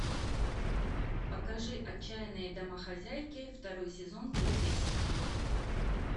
покажи отчаянные домохозяйки второй сезон третья серия